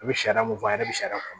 I bɛ sariya mun fɔ a ɲɛna bi sariya kun